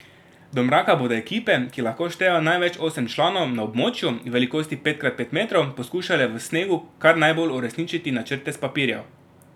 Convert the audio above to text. Do mraka bodo ekipe, ki lahko štejejo največ osem članov, na območju, velikosti pet krat pet metrov, poskušale v snegu kar najbolj uresničiti načrte s papirjev.